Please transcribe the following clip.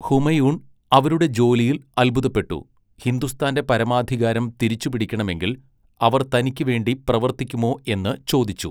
ഹുമയൂൺ അവരുടെ ജോലിയിൽ അത്ഭുതപ്പെട്ടു, ഹിന്ദുസ്ഥാന്റെ പരമാധികാരം തിരിച്ചുപിടിക്കണമെങ്കിൽ അവർ തനിക്കുവേണ്ടി പ്രവർത്തിക്കുമോ എന്ന് ചോദിച്ചു.